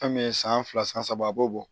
Fɛn min ye san fila san saba a b'o bɔ